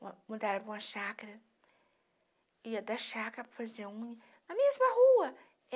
Mudaram para uma chácara, ia da chácara para fazer unha, na mesma rua.